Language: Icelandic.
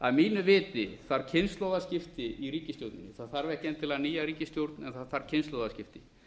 að mínu viti þarf kynslóðaskipti í ríkisstjórninni það þarf ekki endilega nýja ríkisstjórn en það þarf kynslóðaskipti